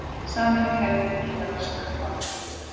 Sameining hefði því getað raskað valdahlutföllum.